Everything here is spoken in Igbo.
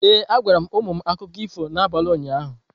Ee, agwara m ụmụ m akụkọ ifo n’abalị ụnyaahụ.